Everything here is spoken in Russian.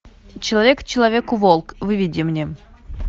человек человеку волк выведи мне